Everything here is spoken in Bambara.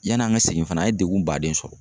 Yani an ka segin fana an ye degun baaden sɔrɔ.